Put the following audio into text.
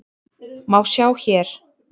má sjá hér.